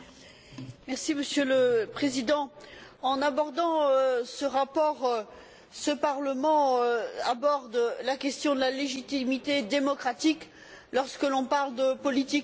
Monsieur le Président, en abordant ce rapport, ce Parlement aborde la question de la légitimité démocratique lorsque l'on parle de politique économique.